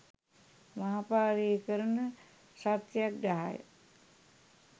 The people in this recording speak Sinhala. මහ පාරේ කරන සත්‍යග්‍රහය